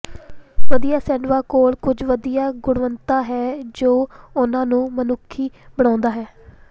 ਵਧੀਆ ਸ਼ੈੱਡਵਾਂ ਕੋਲ ਕੁਝ ਵਧੀਆ ਗੁਣਵੱਤਾ ਹੈ ਜੋ ਉਨ੍ਹਾਂ ਨੂੰ ਮਨੁੱਖੀ ਬਣਾਉਂਦਾ ਹੈ